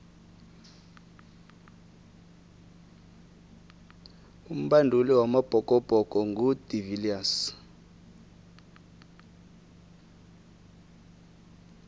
umbanduli wamabhokobhoko ngu de viliers